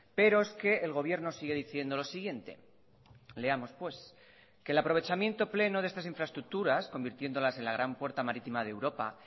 pero es que el gobierno sigue diciendo lo siguiente leamos pues que el aprovechamiento pleno de estas infraestructuras convirtiéndolas en la gran puerta marítima de europa